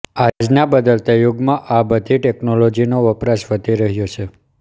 આજના બદલતા યુગમાં આ બધી ટેક્નોલોજી નો વપરાશ વધી રહ્યો છે